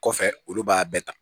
Kɔfɛ olu b'a bɛɛ ta